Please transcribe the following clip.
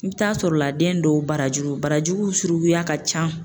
I bɛ taa sɔrɔ la den dɔw barajuru, barajuru suruguya ka ca.